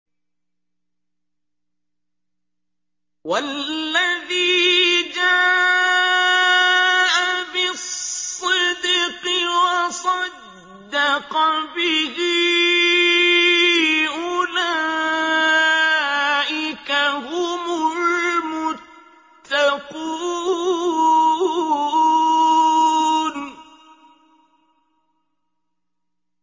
وَالَّذِي جَاءَ بِالصِّدْقِ وَصَدَّقَ بِهِ ۙ أُولَٰئِكَ هُمُ الْمُتَّقُونَ